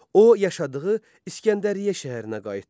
O yaşadığı İskəndəriyyə şəhərinə qayıtdı.